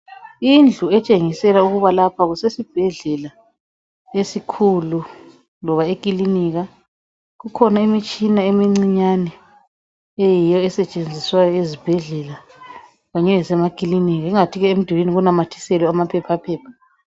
Indlu etshengisela ukuba lapha kusesibhedlela esikhulu loba ekilinika kukhona imitshina emincinyane eyiyo esetshenziswayo ezibhedlela Kanye lase makilinika ingathi ke emdulini kunamathiselwe amaphephaphepha.